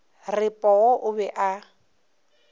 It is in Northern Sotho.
re poo o be a